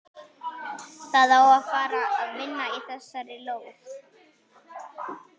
Það á að fara að vinna í þessari lóð.